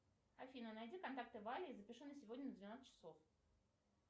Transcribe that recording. афина найди контакты вали и запиши на сегодня на двенадцать часов